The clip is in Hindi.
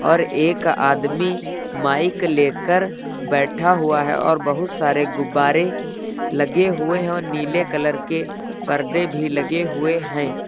और एक आदमी माइक लेकर बैठा हुआ है और बहुत सारे गुब्बारे लगे हुए हैं और नीले कलर के पर्दे भी लगे हुए हैं।